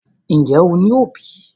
Ǹjẹ́ o ní òbí?